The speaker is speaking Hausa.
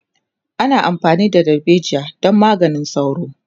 ana amfani da dalbejiya don maganin sauro